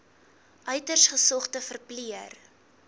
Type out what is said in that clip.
uiters gesogde verpleër